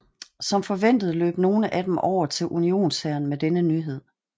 Som forventet løb nogle af dem over til unionshæren med denne nyhed